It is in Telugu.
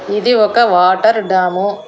ఇది ఒక వాటర్ డాము .